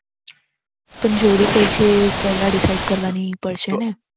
પણ જોડી કઈ છે પેહલા Decide કરવાની પડશે ને